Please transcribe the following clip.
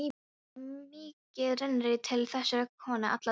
Það var mikið rennirí til þessarar konu alla daga.